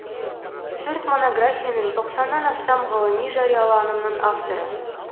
төрт монографияның тоқсаннан астам ғылыми жарияланымның авторы